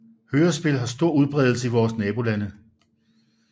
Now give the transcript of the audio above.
Hørespil har stor udbredelse i vore nabolande